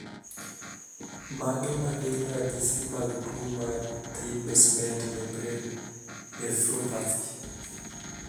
Mage magin ranyisi mag tuo mar Thin basement membrane nephropathy?